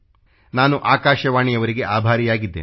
ನಾನು ಆಕಾಶವಾಣಿಯವರಿಗೆ ಆಭಾರಿಯಾಗಿದ್ದೇನೆ